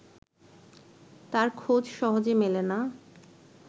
তার খোঁজ সহজে মেলে না